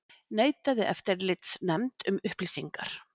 Neitaði eftirlitsnefnd um upplýsingar